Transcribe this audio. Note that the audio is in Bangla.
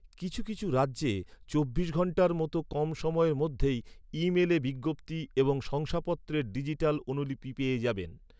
কিছু কিছু রাজ্যে চব্বিশ ঘন্টার মতো কম সময়ের মধ্যেই, ই মেলে বিজ্ঞপ্তি এবং শংসাপত্রের ডিজিটাল অনুলিপি পেয়ে যাবেন।